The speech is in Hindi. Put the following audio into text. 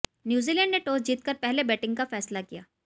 न्यूजीलैंड ने टॉस जीतकर पहले बैटिंग का फैसला किया